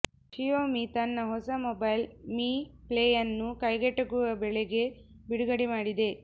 Xiaomi ತನ್ನ ಹೊಸ mobile Mi ಪ್ಲೇಯನ್ನು ಕೈಗೆಟಕುವ ಬೆಲೆಗೆ ಬಿಡುಗಡೆ ಮಾಡಿದೆ